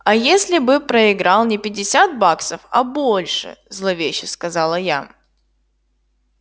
а если бы проиграл не пятьдесят баксов а больше зловеще сказала я